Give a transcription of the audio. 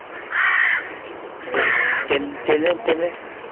hmm Train Train Train